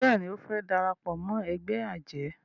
béèni o fè darapọ̀ mọ́ ègbé ajé